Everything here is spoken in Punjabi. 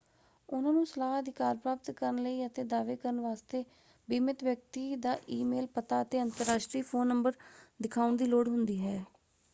ਉਹਨਾਂ ਨੂੰ ਸਲਾਹ/ਅਧਿਕਾਰ ਪ੍ਰਾਪਤ ਕਰਨ ਲਈ ਅਤੇ ਦਾਅਵੇ ਕਰਨ ਵਾਸਤੇ ਬੀਮਿਤ ਵਿਅਕਤੀ ਦਾ ਈ-ਮੇਲ ਪਤਾ ਅਤੇ ਅੰਤਰਰਾਸ਼ਟਰੀ ਫ਼ੋਨ ਨੰਬਰ ਦਿਖਾਉਣ ਦੀ ਲੋੜ ਹੁੰਦੀ ਹੈ।